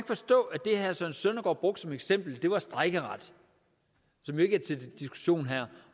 forstå at det herre søren søndergaard brugte som eksempel på det var strejkeretten som jo ikke er til diskussion her